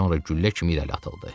Sonra güllə kimi irəli atıldı.